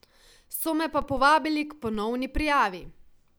So me pa povabili k ponovni prijavi.